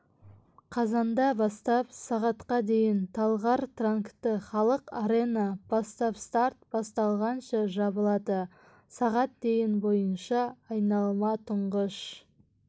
қазанда бастап сағатқа дейін талғар транкты халық арена бастапстарт басталғанша жабылады сағат дейін бойынша айналма тұңғыш